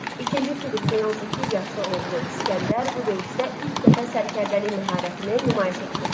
İkinci Filippin 18 yaşlı oğlu İsgəndər bu döyüşdə ilk dəfə sərkərdəlik məharətini nümayiş etdirdi.